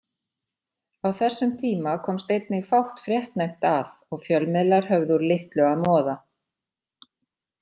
Á þessum tíma komst einnig fátt fréttnæmt að og fjölmiðlar höfðu úr litlu að moða.